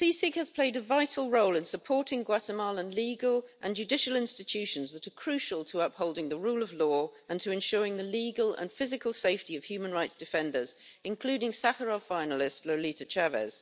has played a vital role in supporting Guatemalan legal and judicial institutions that are crucial to upholding the rule of law and to ensuring the legal and physical safety of human rights defenders, including Sakharov finalist Lolita Chávez.